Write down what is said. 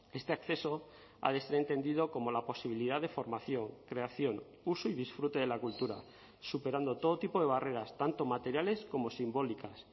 este acceso ha de ser entendido como la posibilidad de formación creación uso y disfrute de la cultura superando todo tipo de barreras tanto materiales como simbólicas